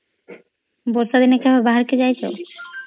ବର୍ଷା ଦିନ କେବେ ବାହାରକୁ ଯାଇଛ